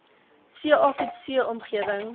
ca coetzee omgewing